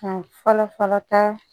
Ka fɔlɔ fɔlɔ ta